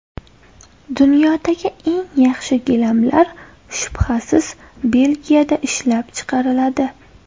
Dunyodagi eng yaxshi gilamlar shubhasiz Belgiyada ishlab chiqariladi.